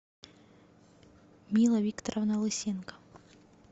мила викторовна лысенко